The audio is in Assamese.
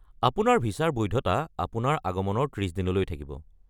আপোনাৰ ভিছাৰ বৈধতা আপোনাৰ আগমনৰ ত্ৰিছদিনলৈ থাকিব।